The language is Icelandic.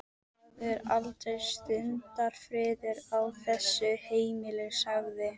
Það er aldrei stundarfriður á þessu heimili sagði